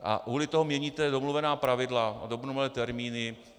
A kvůli tomu měníte domluvená pravidla a domluvené termíny.